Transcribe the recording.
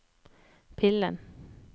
pillen